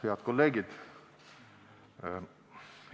Head kolleegid!